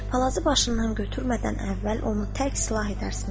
Palazı başından götürmədən əvvəl onu tərk silah edərsiniz.